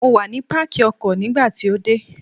Mo wà ní Pákì ọkọ̀ nígbà tí o dé.